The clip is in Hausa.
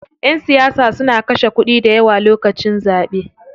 Ƴan siyasa suna kashe kuɗi dayawa lokacin zaɓe.